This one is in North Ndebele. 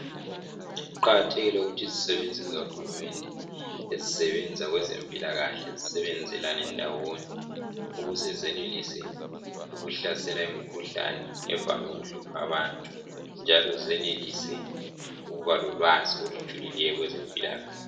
Kuqakathekile ukuthi izisebenzi zikahulumende ezisebenza kwezempilakahle zisebenzelane ndawonye ukuze zenelise ukuhlasela imikhuhlane evame ukuhlupha abantu njalo zenelise ukuba lolwazi olujulileyo kwezempilakahle.